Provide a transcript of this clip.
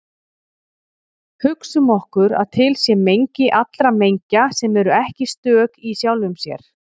Hugsum okkur að til sé mengi allra mengja sem eru ekki stök í sjálfum sér.